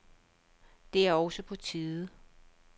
Det er også på tide.